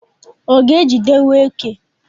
ọ ga-ejidewo eke?